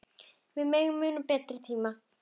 Við megum muna betri tíma.